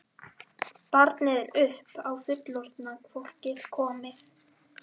Barnið er upp á fullorðna fólkið komið.